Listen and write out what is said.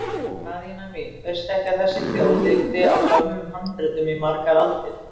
Daðína mín, veistu ekki að þessi þjóð lifði á gömlum handritum í margar aldir?